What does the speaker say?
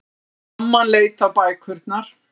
Mamman leit á bækurnar.